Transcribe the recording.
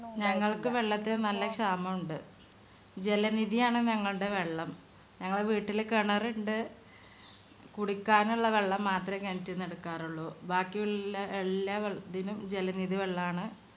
ഞങ്ങൾക്ക് വെള്ളത്തിന് നല്ല ക്ഷാമുണ്ട്. ജലനിധി ആണ് ഞങ്ങൾടെ വെള്ളം. ഞങ്ങളെ വീട്ടില് കിണറിണ്ട് കുടിക്കാനുള്ള വെള്ളം മാത്രേ കിണറ്റിന്ന് എടുക്കാറുള്ളു. ബാക്കിയുള്ള എല്ലാറ്റിനും ജലനിധി വെള്ളാന്ന്